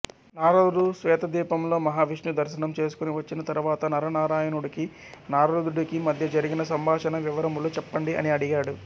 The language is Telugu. నారదుడు శ్వేతద్వీపంలో మహావిష్ణుదర్శనం చేసుకుని వచ్చిన తరువాత నరనారాయణుడికి నారదుడికి మధ్య జరిగిన సంభాషణా వివరములు చెప్పండి అని అడిగాడు